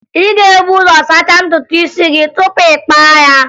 Ị ga-ebu ụzọ sachaa ntutu isi gị tupu ị kpaa ya